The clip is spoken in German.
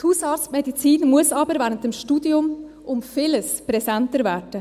Die Hausarztmedizin muss aber während des Studiums um vieles präsenter werden.